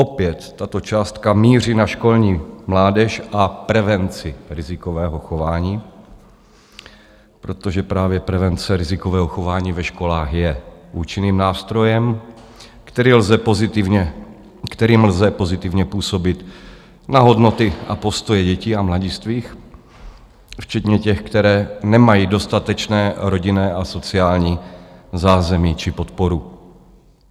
Opět tato částka míří na školní mládež a prevenci rizikového chování, protože právě prevence rizikového chování ve školách je účinným nástrojem, kterým lze pozitivně působit na hodnoty a postoje dětí a mladistvých, včetně těch, kteří nemají dostatečné rodinné a sociální zázemí či podporu.